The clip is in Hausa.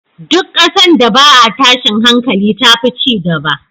Duk ƙasan da ba a tashin hankali tafi cigaba